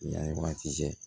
Yan wagati cɛ